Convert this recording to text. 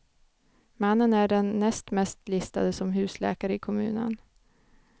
Mannen är den näst mest listade som husläkare i kommunen.